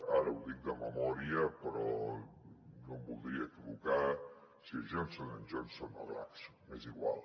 ara ho dic de memòria però no em voldria equivocar si és johnson johnson o glaxon és igual